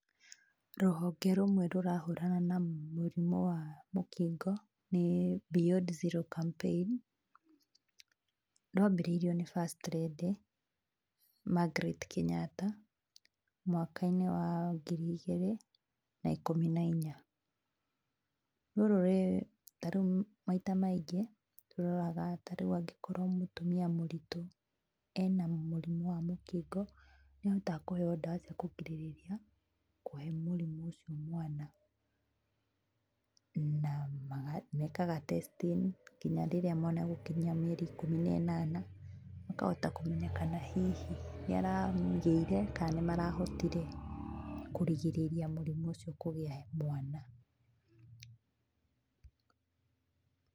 Rũhonge rũmwe rũrahũrana na mũrimũ wa mũkingo, nĩ Beyond Zero Campaign, rwambĩrĩirio nĩ First Lady Margaret Kenyatta mwaka-inĩ wa ngiri igĩrĩ na ikũmi na inya, ta rĩu maita maingĩ nĩ ũroraga angĩkorwo nĩ mũtumia mũritũ ena mũrimũ wa mũkingo nĩ ahotaga kũheo dawa cia kũrigĩrĩria kũhe mũrimũ ũcio mwana na mekaga testing nginya rĩrĩa mwana egũkinyia mĩaka ikũmi na ĩnana makohata kũmenya kana hihi nĩ aragĩire kana nĩmarahotire kũrigĩrĩria mũrimũ ũcio kũgĩa mwana.